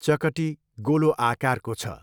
चकटी गोलो आकारको छ।